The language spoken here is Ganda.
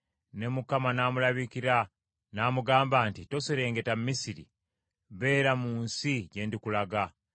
Ne Mukama n’amulabikira, n’amugamba nti, “Toserengeta Misiri, beera mu nsi gye ndikulaga.